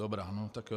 Dobrá, no tak jo.